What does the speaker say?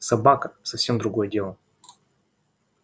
собака совсем другое дело